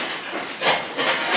Əgər siz keçərsiz.